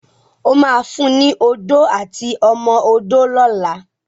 O má fún ní Odó àti ọmọ odó lọla!